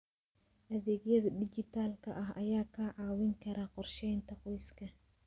Adeegyada dijitaalka ah ayaa kaa caawin kara qorsheynta qoyska.